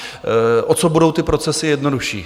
O co budou ty procesy jednodušší?